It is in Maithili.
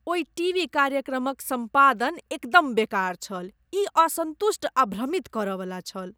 ओहि टीवी कार्यक्रमक सम्पादन एकदम बेकार छल। ई असंतुष्ट आ भ्रमित करयवला छल।